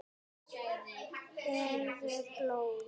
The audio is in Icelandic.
Gefðu blóð.